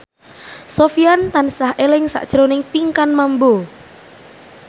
Sofyan tansah eling sakjroning Pinkan Mambo